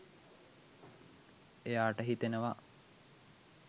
එයාට හිතෙනවා